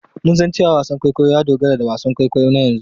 Mun san cewa wasan kwaikwayo ya dogara da wasan kwaikwayo na yanzu.